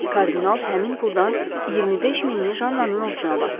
Kardinal həmin puldan 25 minini Jannanın ovucuna basdı.